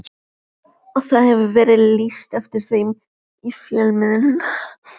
Og það hefur verið lýst eftir þeim í fjölmiðlum.